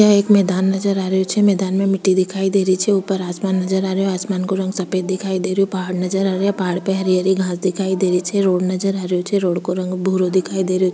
यह एक मैदान नजर आ रही छे मैदान में मिटटी दिखाई दे रही छे ऊपर आसमान नजर आ रही छे आसमान का रंग सफ़ेद दिखाई दे रहो पहाड़ नजर आ रिया पहाड़ पे हरियाली घास दिखाई दे रही छे रोड नजर आ रही छे रोड का रंग भूरो दिखाई दे रही --